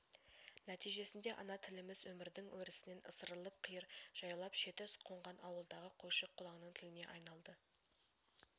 нәтижесінде ана тіліміз өмірдкң өрісінен ысырылып қиыр жайлап шеті қонған ауылдағы қойшы-қолаңның тіліне айналды